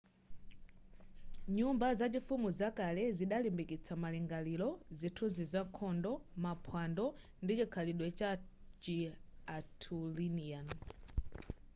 nyumba zachifumu zakale zidalimbikitsa malingaliro zithunzi za nkhondo maphwando ndi chikhalidwe chachi arthurian